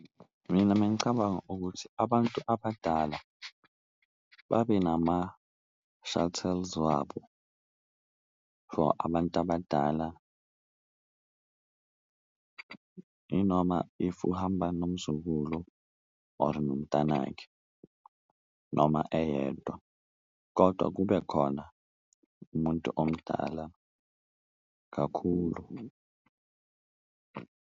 Mina mengicabanga ukuthi abantu abadala babe nama-shuttles wabo for abantu abadala inoma if uhamba nomzukulu or nomntanakhe noma eyedwa, kodwa kube khona umuntu omdala kakhulu.